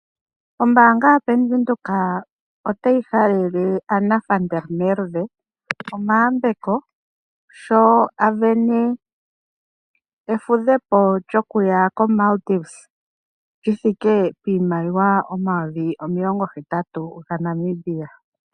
Ombaanga yaBank Windhoek otayi halele Anna van der Merwe omayambeko, sho a vene efudhepo lyokuya koMaldives lyithike piimaliwa omayovi omilongo hetatu gaNamibia.